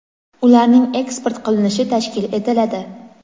ularning eksport qilinishi tashkil etiladi.